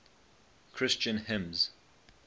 christian hymns